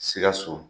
Sikaso